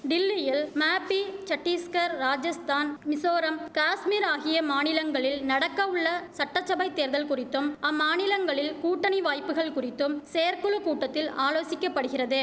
டில்லியில் மேப்பி சட்டீஸ்கர் ராஜஸ்தான் மிசோரம் காஷ்மீர் ஆகிய மாநிலங்களில் நடக்க உள்ள சட்டச்சபைத் தேர்தல் குறித்தும் அம்மாநிலங்களில் கூட்டணி வாய்ப்புகள் குறித்தும் செயற்குழு கூட்டத்தில் ஆலோசிக்கப்படுகிறது